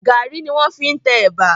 Gàrí ni wọ́n fi ń tẹ ẹ̀bà.